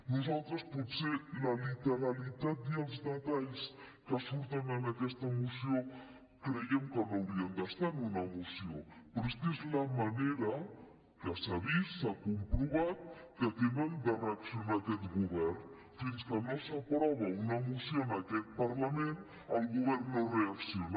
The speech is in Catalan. nosaltres potser la literalitat i els detalls que surten en aquesta moció creiem que no haurien d’estar en una moció però és que és la manera que s’ha vist s’ha comprovat que tenim de fer reaccionar aquest govern fins que no s’aprova una moció en aquest parlament el govern no reacciona